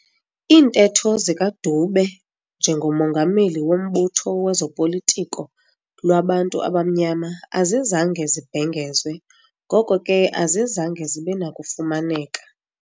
Iintetho zikaDube njengomongameli wombutho wezopolitiko lwabantu abamnyama azizange zibhengezwe, ngoko ke azizange zibenakufumaneka.